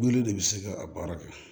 Wele de bi se ka a baara kɛ